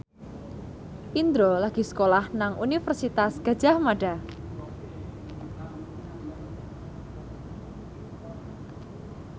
Indro lagi sekolah nang Universitas Gadjah Mada